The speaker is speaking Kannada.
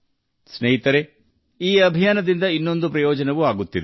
ಸ್ನೇಹಿತರೆ ಈ ಅಭಿಯಾನವು ನಮಗೆ ಇನ್ನೊಂದು ರೀತಿಯಲ್ಲಿ ಪ್ರಯೋಜನ ನೀಡುತ್ತದೆ